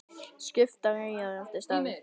Skiptar eyjar eftir stærð